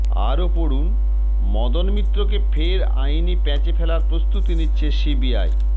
আরও পড়ুন মদন মিত্রকে ফের আইনি প্যাঁচে ফেলার প্রস্তুতি নিচ্ছে সিবিআই